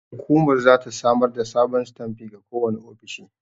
Hukumar zata samar da sabon sitanfi ga kowane ofishi.